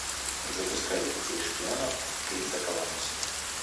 запускай детей шпионов криса коламбуса